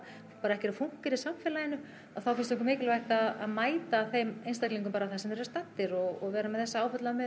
bara ekki er að fúnkera í samfélaginu að þá finnst okkur mikilvægt að mæta þeim einstaklingum bara þar sem þeir eru staddir og vera með þessa